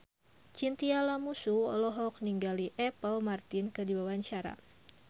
Chintya Lamusu olohok ningali Apple Martin keur diwawancara